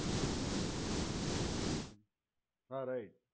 હમ hmm હા right